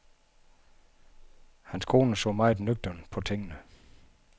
Hans kone så mere nøgternt på tingene.